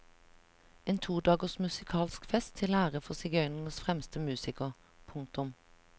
En to dagers musikalsk fest til ære for sigøynernes fremste musiker. punktum